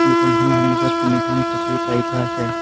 দোকানখনৰ সন্মুখত তিনিখন চকী পাৰি থোৱা আছে।